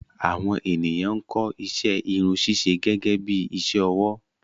Àwọn ènìyàn ń kọ́ iṣẹ́ Irun ṣíṣe gẹ́gẹ́bí iṣẹ́ ọwọ́